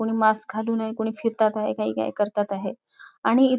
कोणी मास्क घालून आहे कोणी फिरतात आहे काही काय काय करतात आहे आणि इ --